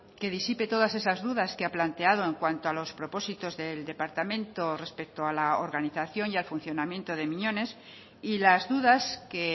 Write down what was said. que disipe todas esas dudas que ha planteado en cuanto a los propósitos del departamento respecto a la organización y al funcionamiento de miñones y las dudas que